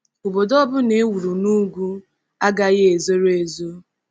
Obodo ọ bụla e wuru n’ugwu agaghị ezoro ezo.